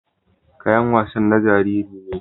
Kayan wasan na jaririn ne.